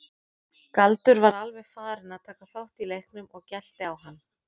Galdur var alveg farinn að taka þátt í leiknum og gelti á hann.